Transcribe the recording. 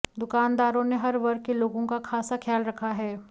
दुकानदारों ने हर वर्ग के लोगों का खासा ख्याल रखा है